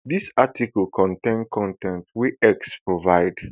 dis article contain con ten t wey x provide